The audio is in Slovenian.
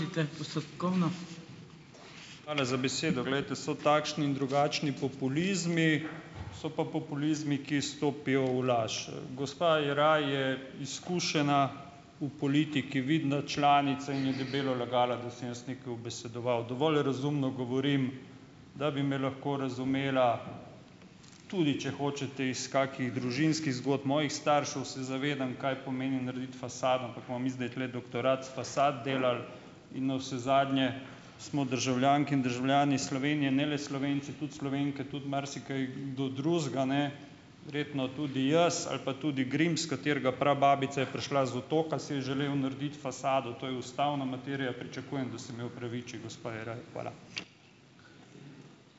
Hvala za besedo. Glejte, so takšni in drugačni populizmi, so pa populizmi, ki stopijo v laž. Gospa Jeraj je izkušena v politiki, vidna članica in je debelo lagala, da sem jaz nekaj ubesedoval. Dovolj razumno govorim, da bi me lahko razumela tudi, če hočete, iz kakih družinskih zgodb mojih staršev, se zavedam, kaj pomeni narediti fasado, ampak bomo mi zdaj tule doktorat iz fasad delali in navsezadnje smo državljanke in državljani Slovenije, ne le Slovenci, tudi Slovenke, tudi marsikaj, kdo drugega, ne, verjetno tudi jaz ali pa tudi Grims, katerega prababica je prišla z otoka, si je želel narediti fasado. To je ustavna materija. Pričakujem, da se mi opraviči gospa Jeraj. Hvala.